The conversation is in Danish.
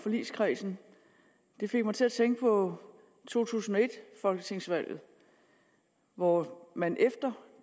forligskredsen det fik mig til at tænke på to tusind og et folketingsvalget hvor man efter